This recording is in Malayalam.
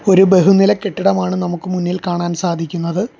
ഒരു ബഹുനില കെട്ടിടമാണ് നമുക്ക് മുന്നിൽ കാണാൻ സാധിക്കുന്നത്.